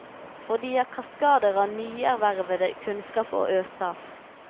For de har kaskader av nyervervet kunnskap å øse av.